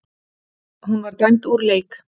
Hún var dæmd úr leik.